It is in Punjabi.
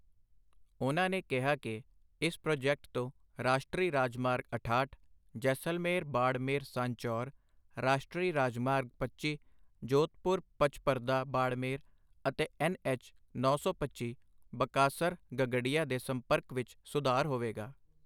ਉਨ੍ਹਾਂ ਨੇ ਕਿਹਾ ਕਿ ਇਸ ਪ੍ਰੋਜੈਕਟ ਤੋਂ ਰਾਸ਼ਟਰੀ ਰਾਜਮਾਰਗ ਅਠਾਹਠ ਜੈਸਲਮੇਰ ਬਾੜਮੇਰ ਸਾਂਚੌਰ, ਰਾਸ਼ਟਰੀ ਰਾਜਮਾਰਗ ਪੱਚੀ ਜੋਧਪੁਰ ਪਚਪਰਦਾ ਬਾੜਮੇਰ ਅਤੇ ਐੱਨ ਐੱਚ ਨੌ ਸੌ ਪੱਚੀ ਬਕਾਸਰ ਗਗਡੀਆ ਦੇ ਸੰਪਰਕ ਵਿੱਚ ਸੁਧਾਰ ਹੋਵੇਗਾ।